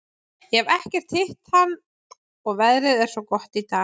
Ég hef ekkert hitt hann og veðrið er svo gott í dag.